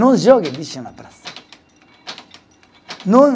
Não jogue lixo na praça. Não